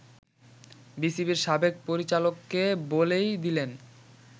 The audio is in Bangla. বিসিবির সাবেক পরিচালককে বলেই দিলেন